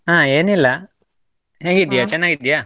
ಹಾ ಏನಿಲ್ಲ, ಹೇಗಿದ್ದೀಯಾ? ಚೆನ್ನಾಗಿದ್ದೀಯ?